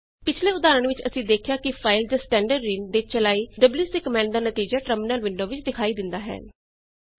ਪਿਛਲੇ ਉਦਾਹਰਣ ਵਿੱਚ ਅਸੀਂ ਦੇਖਿਆ ਕਿ ਫਾਈਲ ਜਾਂ ਸਟੈਂਡਰਡਿਨ ਤੇ ਚਲਾਈ ਡਬਲਯੂਸੀ ਕਮਾੰਡ ਦਾ ਨਤੀਜਾ ਟਰਮਿਨਲ ਵਿੰਡੋ ਵਿੱਚ ਦਿਖਾਈ ਦਿੰਦਾ ਹੈ